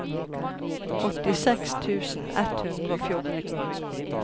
åttiseks tusen ett hundre og fjorten